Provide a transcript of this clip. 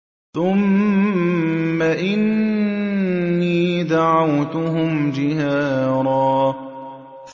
ثُمَّ إِنِّي دَعَوْتُهُمْ جِهَارًا